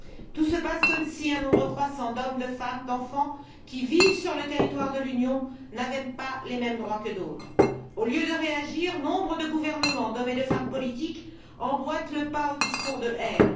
Tout se passe comme si un nombre croissant d'hommes, de femmes et d'enfants, qui vivent sur le territoire de l'Union, n'avaient pas les mêmes droits que d'autres. Au lieu de réagir, nombre de gouvernements, d'hommes et de femmes politiques emboîtent le pas aux discours de haine.